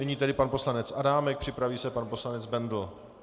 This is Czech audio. Nyní tedy pan poslanec Adámek, připraví se pan poslanec Bendl.